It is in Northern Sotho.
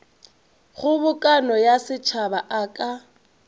kgobokano ya setšhaba a ka